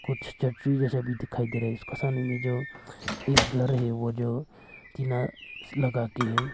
कुछ छतरी जैसा भी दिखाई दे रहा है जिसका सामने में जो एक घर है वो जो टीना लगा के है।